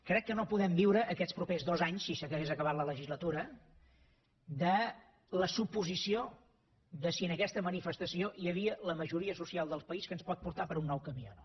crec que no podem viure aquests propers dos anys si s’hagués acabat la legislatura de la suposició de si en aquesta manifestació hi havia la majoria social del país que ens pot portar per un nou camí o no